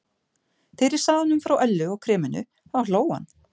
Þegar ég sagði honum frá Öllu og kreminu þá hló hann.